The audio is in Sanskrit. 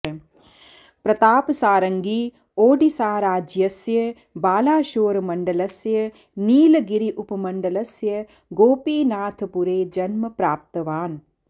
प्रतापसारङ्गी ओडिस्साज्यस्य बालाशोर् मण्डलस्य नीलगिरि उपमण्डलस्य गोपीनाथपुरे जन्म प्राप्तवान्